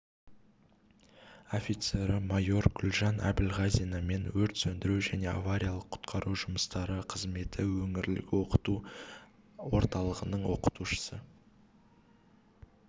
офицері майор гүлжан әбілғазина мен өрт сөндіру және авариялық-құтқару жұмыстары қызметі өңірлік оқыту орталығының оқытушысы